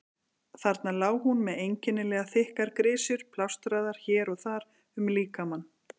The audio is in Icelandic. Þarna lá hún með einkennilega þykkar grisjur plástraðar hér og þar um líkamann.